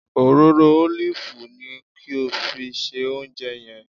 Òróró ólìfù ni kí o fi se oúnjẹ yẹn